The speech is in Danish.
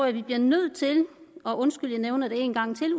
at vi bliver nødt til og undskyld jeg nævner det én gang til